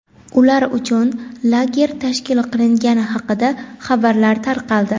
ular uchun lager tashkil qilingani haqida xabarlar tarqaldi.